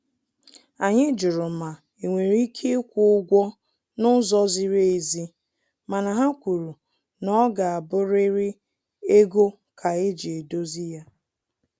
Anyị jụrụ ma enwere ike ikwu ụgwọ na ụzọ ziri ezi, mana ha kwuru na ọ ga abụriri ego ka eji edozi ya